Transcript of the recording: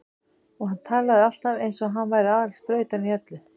Og hann talaði alltaf eins og hann væri aðal sprautan í öllu.